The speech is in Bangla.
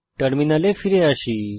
টার্মিনালে ফিরে আসুন